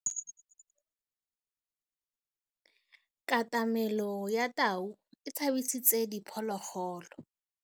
Katamêlô ya tau e tshabisitse diphôlôgôlô.